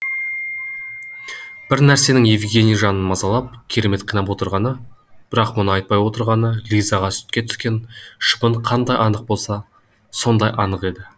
бір нәрсенің евгений жанын мазалап керемет қинап отырғаны бірақ мұны айтпай отырғаны лизаға сүтке түскен шыбын қандай анық болса сондай анық еді